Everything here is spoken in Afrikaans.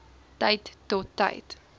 tyd tot tyd